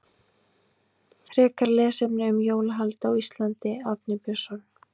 Frekara lesefni um jólahald á Íslandi Árni Björnsson.